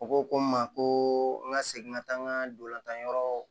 U ko ko n ma ko n ka segin ka taa n ka ndolantan yɔrɔ